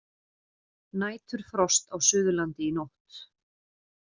Næturfrost á Suðurlandi í nótt